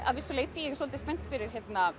að vissu leyti ég er svolítið spennt fyrir